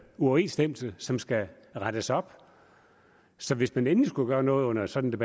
uoverensstemmelse som skal rettes op så hvis man endelig skulle gøre noget under sådan